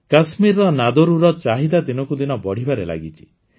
କାଶ୍ମୀରର ନାଦରୁର ଚାହିଦା ଦିନକୁ ଦିନ ବଢ଼ିବାରେ ଲାଗିଛି